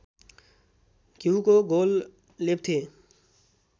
घ्यूको घोल लेप्थे